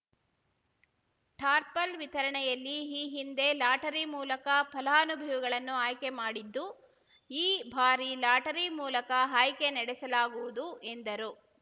ಟಾರ್ಪಲ್‌ ವಿತರಣೆಯಲ್ಲಿ ಈ ಹಿಂದೆ ಲಾಟರಿ ಮೂಲಕ ಫಲಾನುಭವಿಗಳನ್ನು ಆಯ್ಕೆ ಮಾಡಿದ್ದು ಈ ಬಾರಿ ಲಾಟರಿ ಮೂಲಕ ಆಯ್ಕೆ ನಡೆಸಲಾಗುವುದು ಎಂದರು